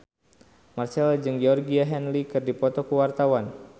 Marchell jeung Georgie Henley keur dipoto ku wartawan